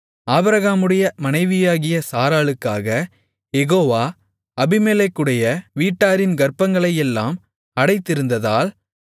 ஆபிரகாமுடைய மனைவியாகிய சாராளுக்காக யெகோவா அபிமெலேக்குடைய வீட்டாரின் கர்ப்பங்களையெல்லாம் அடைத்திருந்ததால்